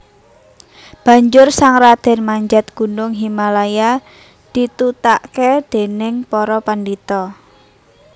Banjur sang radèn manjat gunung Himalaya ditutaké dèning para pandhita